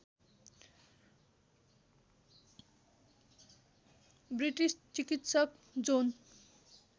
British चिकित्सक John